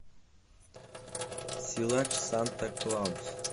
силач санта клаус